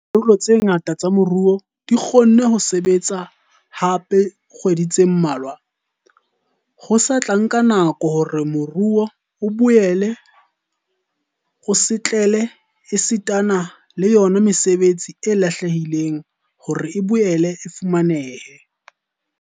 Leha dikarolo tse ngata tsa moruo di kgonne ho sebetsa hape dikgwedi tse mmalwa, ho sa tla nka nako hore moruo o boele o setlele esitana le yona mesebetsi e lahlehileng hore e boele e fumanehe.